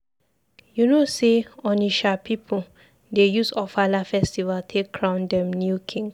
You know sey Onitsha pipu dey use Ofala festival take crown dem new king?